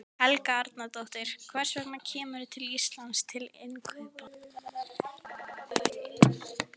Helga Arnardóttir: Hvers vegna kemurðu til Íslands til innkaupa?